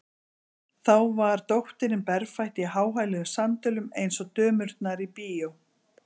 Þá var dóttirin berfætt í háhæluðum sandölum, eins og dömurnar í bíó.